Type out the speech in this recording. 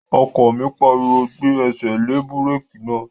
Ọkọ mi pariwo, "Gbé ẹsẹ̀ lé búrèkì náà!"